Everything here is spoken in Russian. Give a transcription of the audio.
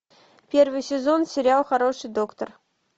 первый сезон сериал хороший доктор